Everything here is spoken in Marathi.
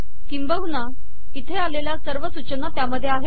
किंभवन् इथे आलेल्या सर्व सूचना त्यामध्ये आहे